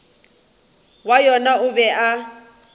wa yona o be a